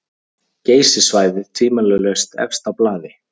Geysissvæðið tvímælalaust efst á blaði.